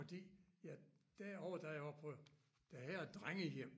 Fordi ja det år da jeg var på det her drengehjem